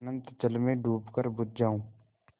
अनंत जल में डूबकर बुझ जाऊँ